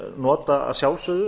nota að sjálfsögðu